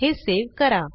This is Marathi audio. हे सेव्ह करा